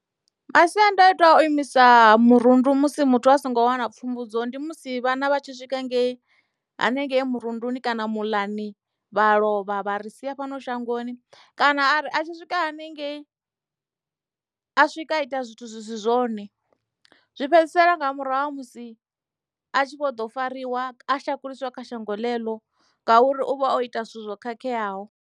Masiandaitwa a u imisa murundu musi muthu a songo wana pfumbudzo ndi musi vhana vhatshi swika ngei hanengei murunduni kana muḽani vha lovha vha ri sia fhano shangoni kana a ri a tshi swika hanengei a swika a ita zwithu zwi si zwone zwi fhedzisela nga murahu ha musi a tshi vho ḓo fariwa a shakuliswa kha shango ḽeneḽo ngauri u vha o ita zwithu zwo khakheaho.